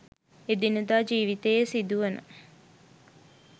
එදිනෙදා ජීවිතයේ සිදුවන